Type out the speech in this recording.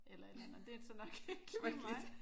Eller et eller andet og det er så nok ikke lige mig